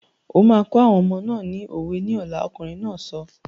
O máa kọ́ àwọn ọmọ náà ni òwe ní ọ̀la! Ọkùnrin náà sọ.